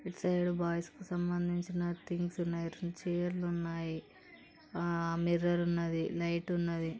ఇటు side boys కి సంబంధించిన థింగ్ స్ ఉన్నయి. చైర్ లు ఉన్నాయి. ఆ మిర్రర్ ఉన్నది. లైట్ ఉన్నది. ]